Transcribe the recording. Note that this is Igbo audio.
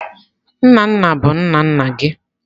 Nna nna bụ nna nna gị.